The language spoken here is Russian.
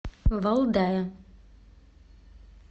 валдая